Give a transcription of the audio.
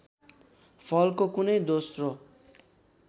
फलको कुनै दोस्रो